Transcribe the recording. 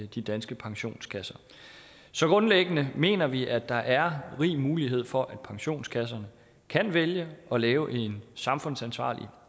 de danske pensionskasser så grundlæggende mener vi at der er rig mulighed for at pensionskasserne kan vælge at lave en samfundsansvarlig